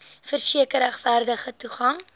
verseker regverdige toegang